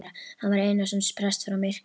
Hann var Einarsson prests frá Myrká.